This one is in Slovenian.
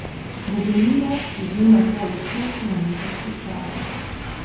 Do doline je bil nato desetkilometrski klanec.